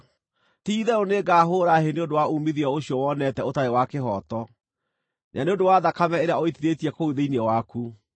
“ ‘Ti-itherũ nĩngahũũra hĩ nĩ ũndũ wa uumithio ũcio wonete ũtarĩ wa kĩhooto, na nĩ ũndũ wa thakame ĩrĩa ũitithĩtie kũu thĩinĩ waku.